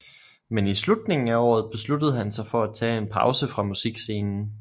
Men i slutningen af året besluttede han sig for at tage en pause fra musikscenen